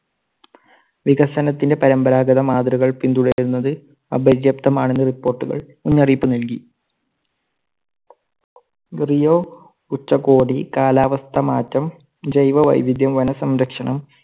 വികസനത്തിന്റെ പരമ്പരാഗത മാതൃകകൾ പിന്തുടരുന്നത് അപര്യാപ്തമാണെന് report കൾ മുന്നറിയിപ്പ് നൽകി. ഉച്ചകോടി കാലാവസ്ഥാമാറ്റം, ജൈവ വൈവിധ്യം, വനസംരക്ഷണം.